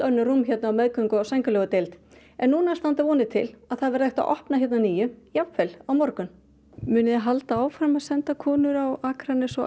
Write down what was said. önnur rúm hérna á meðgöngu og sængurlegudeild en núna standa vonir til að það verði unnt að opna hérna að nýju jafnvel á morgun munið þið halda áfram að senda konur á Akranes og